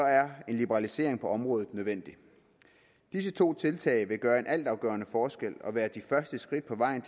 er en liberalisering på området nødvendig disse to tiltag vil gøre en altafgørende forskel og være de første skridt på vejen